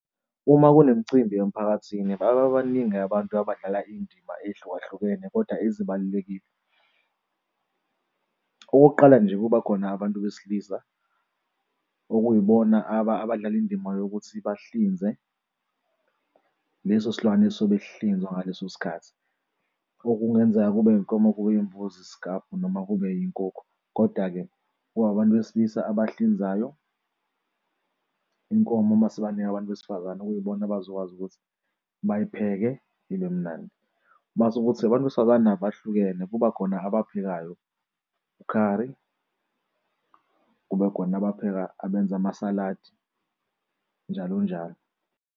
Uma kunemicimbi emphakathini baba baningi abantu abadlala indima ehlukahlukene koda ezibalulekile. Okokuqala nje, kuba khona abantu besilisa okuyibona abadlala indima yokuthi bahlinze leso silwane esobe sihlinzwa ngaleso sikhathi okungenzeka kube iy'nkomo, kube yimbuzi, isikabhu noma kube iy'nkukhu. Koda-ke kwabantu besilisa abahlinzayo inkomo uma sibanika abantu besifazane okuyibona abazokwazi ukuthi bayipheke ibe mnandi. Mase kuthi abantu besifazane nabo bahlukene kubakhona abaphekayo ukhari, kube khona abapheka abenza amasaladi, njalo njalo.